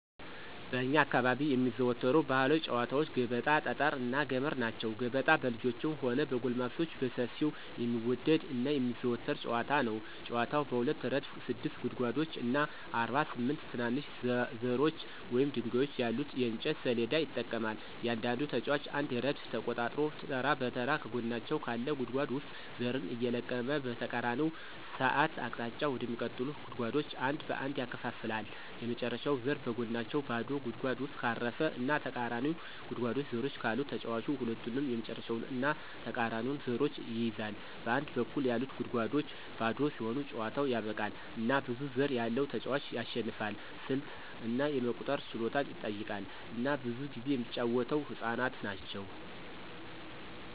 በእኛ አካባቢ የሚዘወተሩ ባህላዊ ጨዋታወች ገበጣ፣ ጠጠር እና ገመድ ናቸው። ገበጣ በልጆችም ሆነ በጎልማሶች በሰፊው የሚወደድ እና የሚዘወተር ጨዋታ ነው። ጨዋታው በሁለት ረድፍ ስድስት ጉድጓዶች እና 48 ትናንሽ ዘሮች ወይም ድንጋዮች ያሉት የእንጨት ሰሌዳ ይጠቀማል. እያንዳንዱ ተጫዋች አንድ ረድፍ ተቆጣጥሮ ተራ በተራ ከጎናቸው ካለ ጉድጓድ ውስጥ ዘርን እየለቀመ በተቃራኒ ሰዓት አቅጣጫ ወደሚቀጥሉት ጉድጓዶች አንድ በአንድ ያከፋፍላል። የመጨረሻው ዘር በጎናቸው ባዶ ጉድጓድ ውስጥ ካረፈ እና ተቃራኒው ጉድጓድ ዘሮች ካሉት ተጫዋቹ ሁለቱንም የመጨረሻውን እና ተቃራኒውን ዘሮች ይይዛል. በአንድ በኩል ያሉት ጉድጓዶች ባዶ ሲሆኑ ጨዋታው ያበቃል፣ እና ብዙ ዘር ያለው ተጫዋች ያሸንፋል። ስልት እና የመቁጠር ችሎታን ይጠይቃል፣ እና ብዙ ጊዜ የሚጫወተው ህፃናት ናቸው።